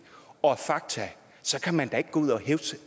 og fakta kan man da ikke gå ud og hævde